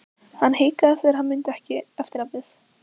Hann hikaði þegar hann mundi ekki eftirnafnið.